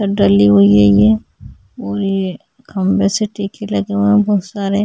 छत डली हुई है ये और ये खम्बे से तीरछे लगे हुए है बहुत सारे--